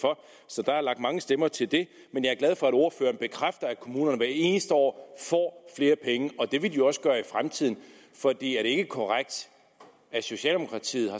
for så der er lagt mange stemmer til det men jeg er glad for at ordføreren bekræfter at kommunerne hvert eneste år får flere penge det vil de også gøre i fremtiden for er det ikke korrekt at socialdemokratiet